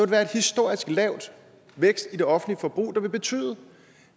være en historisk lav vækst i det offentlige forbrug der vil betyde